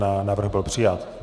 Návrh byl přijat.